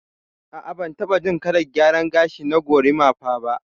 A'a bantaɓa jin kalar gyaran gashi na gorimafa ba.